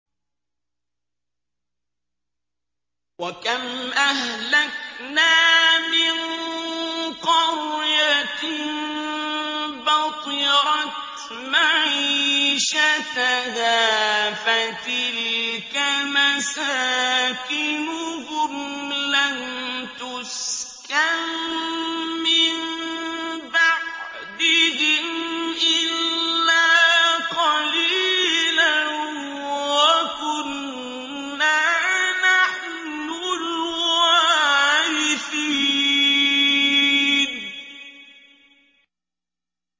وَكَمْ أَهْلَكْنَا مِن قَرْيَةٍ بَطِرَتْ مَعِيشَتَهَا ۖ فَتِلْكَ مَسَاكِنُهُمْ لَمْ تُسْكَن مِّن بَعْدِهِمْ إِلَّا قَلِيلًا ۖ وَكُنَّا نَحْنُ الْوَارِثِينَ